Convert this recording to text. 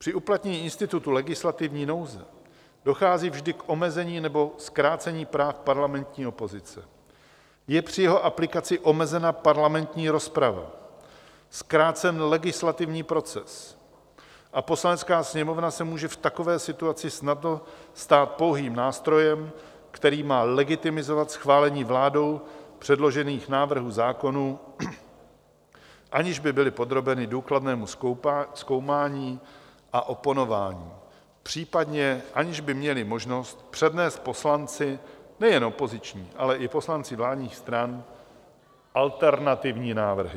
Při uplatnění institutu legislativní nouze dochází vždy k omezení nebo zkrácení práv parlamentní opozice, je při jeho aplikaci omezena parlamentní rozprava, zkrácen legislativní proces a Poslanecká sněmovna se může v takové situaci snadno stát pouhým nástrojem, který má legitimizovat schválení vládou předložených návrhů zákonů, aniž by byly podrobeny důkladnému zkoumání a oponování, popřípadě aniž by měly možnost přednést poslanci nejen opoziční, ale i poslanci vládních stran alternativní návrhy.